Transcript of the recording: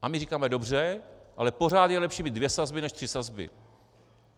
A my říkáme dobře, ale pořád je lepší mít dvě sazby než tři sazby.